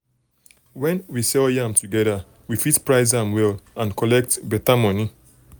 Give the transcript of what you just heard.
when we sell yam together we fit price am well um and collect um better money.